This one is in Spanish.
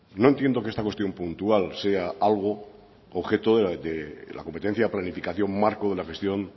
no entiendo que esta cuestión puntual sea algo objeto de la competencia planificación marco de la gestión